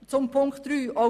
Zu Ziffer 3: